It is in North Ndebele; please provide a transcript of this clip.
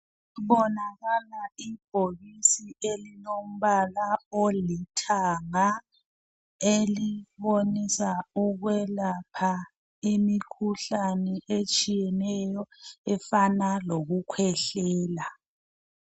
Kubonakala ibhokisi elilombala olithanga elibonisa ukuyelapha imikhuhlane etshiyeneyo efana lokukhwehlela.